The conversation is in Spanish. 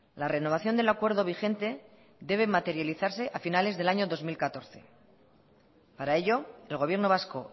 la renovación del acuerdo vigente debe materializarse a finales del año dos mil catorce para ello el gobierno vasco